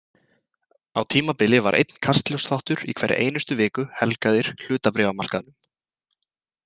Á tímabili var einn Kastljóssþáttur í hverri einustu viku helgaðir hlutabréfamarkaðnum.